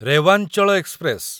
Rewanchal express